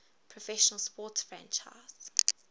professional sports franchise